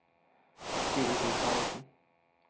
fire tusen og nitten